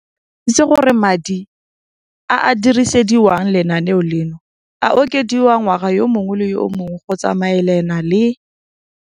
Rakwena o tlhalositse gore madi a a dirisediwang lenaane leno a okediwa ngwaga yo mongwe le yo mongwe go tsamaelana le